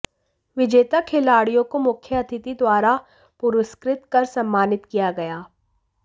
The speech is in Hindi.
विजेता खिलाडिय़ों को मुख्य अतिथि द्वारा पुरस्कृत कर सम्मानित किया गया